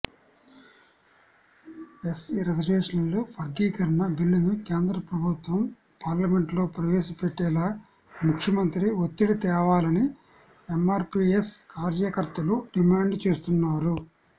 SC రిజర్వేషన్ల వర్గీకరణ బిల్లును కేంద్ర ప్రభుత్వం పార్లమెంటులో ప్రవేశపెట్టేలా ముఖ్యమంత్రి ఒత్తిడి తేవాలని ఎమ్మార్పీయస్ కార్యకర్తలు డిమాండ్ చేస్తున్నారు